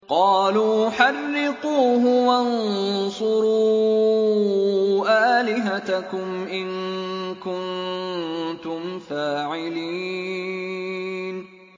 قَالُوا حَرِّقُوهُ وَانصُرُوا آلِهَتَكُمْ إِن كُنتُمْ فَاعِلِينَ